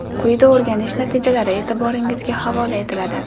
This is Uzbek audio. Quyida o‘rganish natijalari e’tiboringizga havola etiladi.